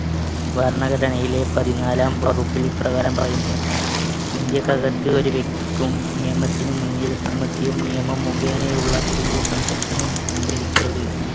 ഭരണഘടനയിലെ പതിനാലാം വകുപ്പിൽ ഇപ്രകാരം പറയുന്നു. ഇന്ത്യക്കകത്ത്‌ ഒരു വ്യക്തിക്കും നിയമത്തിനുമുൻപിൽ സമത്വം നിയമം മുഖേനയുള്ള തുല്യ സംരക്ഷണം ശരിക്ക് അറിയും.